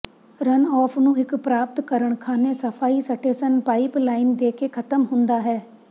runoff ਨੂੰ ਇੱਕ ਪ੍ਰਾਪਤ ਕਰਨ ਖ਼ਾਨੇ ਸਫਾਈ ਸਟੇਸ਼ਨ ਪਾਈਪਲਾਈਨ ਦੇ ਕੇ ਖਤਮ ਹੁੰਦਾ ਹੈ